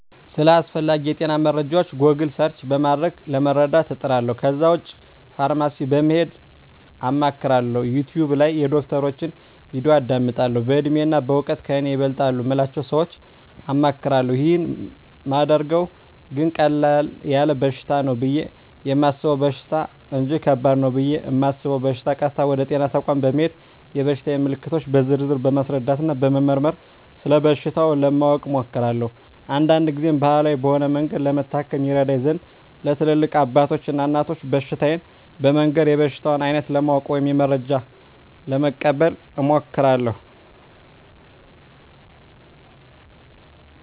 ስለ አስፈላጌ የጤና መረጃወች "ጎግል" ሰርች" በማድረግ ለመረዳት እጥራለሁ ከዛ ውጭ ፋርማሲ በመሄድ አማክራለሁ፣ "ዩቲውብ" ላይ የዶክተሮችን "ቪዲዮ" አዳምጣለሁ፣ በእድሜና በእውቀት ከኔ ይበልጣሉ ምላቸውን ሰወች አማክራለሁ። ይህን ማደርገው ግን ቀለል ያለ በሽታ ነው ብየ የማሰበውን በሽታ እንጅ ከባድ ነው ብየ እማስበውን በሸታ ቀጥታ ወደ ጤና ተቋም በመሄድ የበሽታየን ምልክቶች በዝርዝር በማስረዳትና በመመርመር ስለበሽታው ለማወቅ እሞክራለሁ። አንዳንድ ግዜም ባህላዊ በሆነ መንገድ ለመታከም ይረዳኝ ዘንድ ለትላልቅ አባቶች እና እናቶች በሽታየን በመንገር የበሽታውን አይነት ለማወቅ ወይም መረጃ ለመቀበል እሞክራለሁ።